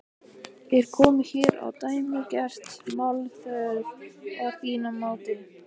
Er komið hér á dæmigert málþóf að þínu mati?